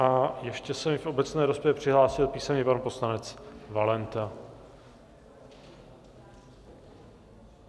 A ještě se mi v obecné rozpravě přihlásil písemně pan poslanec Valenta.